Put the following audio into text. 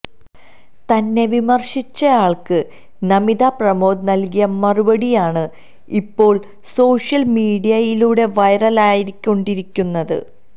തന്നെ വിമര്ശിച്ചയാള്ക്ക് നമിത പ്രമോദ് നല്കിയ മറുപടിയാണ് ഇപ്പോള് സോഷ്യല് മീഡിയയിലൂടെ വൈറലായിക്കൊണ്ടിരിക്കുന്നത്